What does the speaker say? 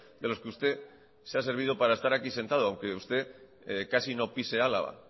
de los que usted se ha servido para estar aquí sentado aunque usted casi no pise álava